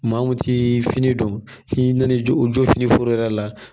Maa mun ti fini dɔn k'i nan'i jɔ o jɔ fini foro yɛrɛ la